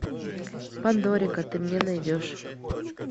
пандорика ты мне найдешь